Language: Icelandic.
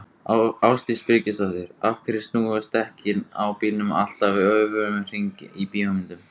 Ásdís Birgisdóttir: Af hverju snúast dekkin á bílum alltaf öfugan hring í bíómyndum?